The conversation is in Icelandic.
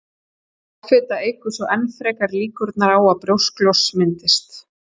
offita eykur svo enn frekar líkurnar á að brjósklos myndist